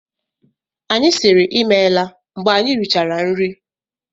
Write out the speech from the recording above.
Anyị siiri ịmela mgbe anyị richara nri.